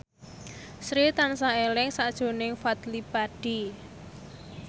Sri tansah eling sakjroning Fadly Padi